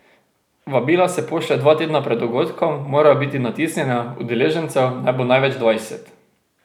Vabila se pošlje dva tedna pred dogodkom, morajo biti natisnjena, udeležencev naj bo največ dvajset.